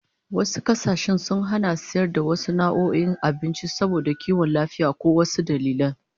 Wasu kasashen sun hana sayar da wasu nau'o'in abinci saboda kiwon lafiya ko wasu dalilan